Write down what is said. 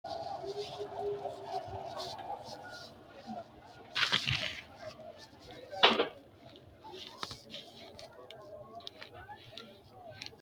Kuri mittu danita rosu uddano udidhinno qaaqqulli rosano ikkitanna kuri jajjabbu manni kayinni insa da"attara dagginnore ayirradda qoqqowu gashshanoti kuri giddono mittu Desta Ledamot.